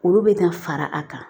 Olu bɛ ka fara a kan